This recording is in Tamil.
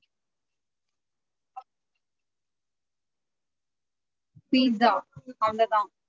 Pizza அவ்ளோதான்.